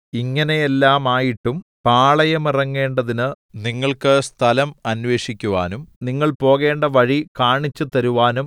ഇങ്ങനെയെല്ലാമായിട്ടും പാളയമിറങ്ങേണ്ടതിന് നിങ്ങൾക്ക് സ്ഥലം അന്വേഷിക്കുവാനും നിങ്ങൾ പോകേണ്ട വഴി കാണിച്ചുതരുവാനും